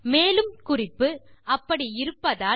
மேலும் குறிப்பு அப்படி இருப்பதால்